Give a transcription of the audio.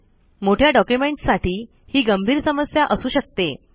मोठ्या ड़ॉक्यूमेंनट्स साठी हि गंभीर समस्या असू शकते